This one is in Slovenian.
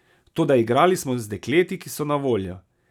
Toda igrali smo z dekleti, ki so na voljo.